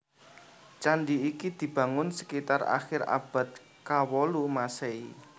Candi iki dibangun sekitar akhir abad kawolu Maséhi